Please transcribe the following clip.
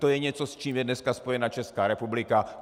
To je něco, s čím je dneska spojena Česká republika.